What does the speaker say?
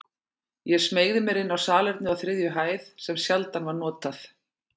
Ég smeygði mér inn á salernið á þriðju hæð, sem sjaldan var notað.